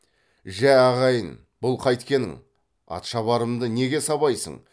жә ағайын бұл қайткенің атшабарымды неге сабайсың